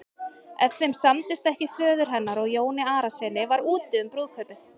Ef þeim samdist ekki föður hennar og Jóni Arasyni var úti um brúðkaupið.